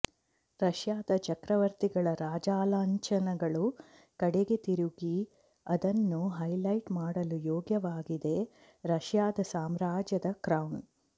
ರಷ್ಯಾದ ಚಕ್ರವರ್ತಿಗಳ ರಾಜಲಾಂಛನಗಳು ಕಡೆಗೆ ತಿರುಗಿ ಅದನ್ನು ಹೈಲೈಟ್ ಮಾಡಲು ಯೋಗ್ಯವಾಗಿದೆ ರಷ್ಯಾದ ಸಾಮ್ರಾಜ್ಯದ ಕ್ರೌನ್